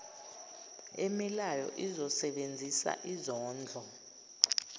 emilayo izosebenzisa izondlo